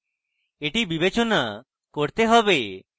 এটি বিবেচনা করতে হবে